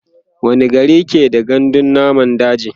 wani gari ke da gandun namun daji?